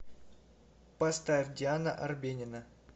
поставь диана арбенина